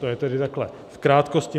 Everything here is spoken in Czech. To je tedy takhle v krátkosti.